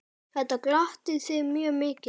Victor bróðir minn er dáinn.